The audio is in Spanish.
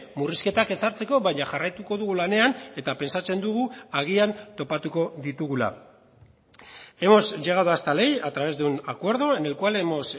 murrizketak ezartzeko baina jarraituko dugu lanean eta pentsatzen dugu agian topatuko ditugula hemos llegado a esta ley a través de un acuerdo en el cual hemos